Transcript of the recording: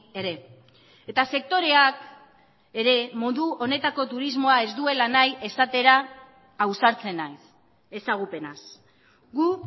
ere eta sektoreak ere modu honetako turismoa ez duela nahi esatera ausartzen naiz ezagupenaz gu